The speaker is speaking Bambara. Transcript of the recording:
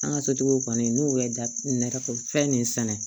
An ka sotigiw kɔni n'u bɛ da nɛgɛ fɛn min sɛnɛ